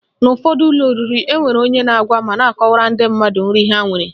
N'ụfọdụ ụlọ oriri, enwere onye na-agwa ma na-akọwara ndị mmadụ nri ha nwere